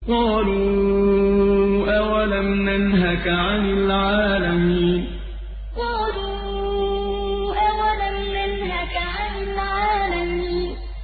قَالُوا أَوَلَمْ نَنْهَكَ عَنِ الْعَالَمِينَ قَالُوا أَوَلَمْ نَنْهَكَ عَنِ الْعَالَمِينَ